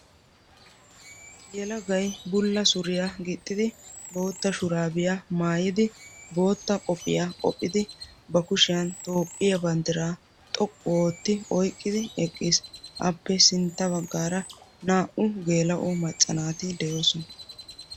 Yelagay bulla suriya gixxidi, bootta shuraabiya maayidi, bootta qophiya qophidi, ba kushiyan Toophphiya banddiraa xoqqu ootti oyqqidi eqqiis. Appe sintta baggaara 2u geela'o macca naati de'oosona.